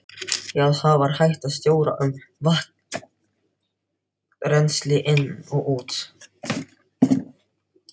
Þá var hægt að stjórna vatnsrennsli inn og út.